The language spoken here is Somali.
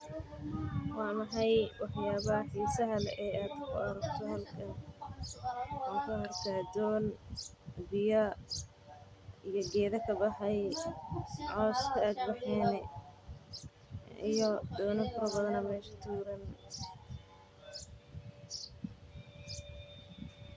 Waa maxay wax yaabaha xiisaha leh oo aad ku aragto halkan waxaan arkaa doon biya iyo geeda kabaxay.